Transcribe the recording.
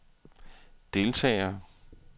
deltagere